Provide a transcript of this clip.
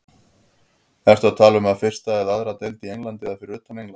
Ertu að tala um fyrstu eða aðra deild í Englandi eða fyrir utan England?